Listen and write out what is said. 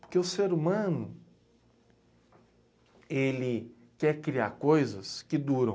Porque o ser humano, ele quer criar coisas que duram.